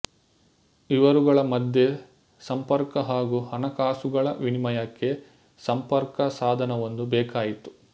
ಇವರುಗಳ ಮಧ್ಯೆ ಸಂಪರ್ಕ ಹಾಗೂ ಹಣಕಾಸುಗಳ ವಿನಿಮಯಕ್ಕೆ ಸಂಪರ್ಕ ಸಾಧನವೊಂದು ಬೇಕಾಯಿತು